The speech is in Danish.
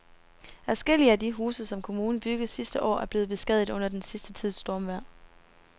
Adskillige af de huse, som kommunen byggede sidste år, er blevet beskadiget under den sidste tids stormvejr.